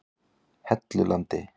Hellulandi